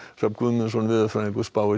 Hrafn Guðmundsson veðurfræðingur spáir